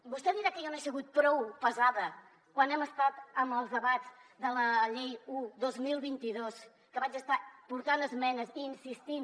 vostè dirà que jo no he sigut prou pesada quan hem estat en els debats de la llei un dos mil vint dos que vaig estar portant esmenes i insistint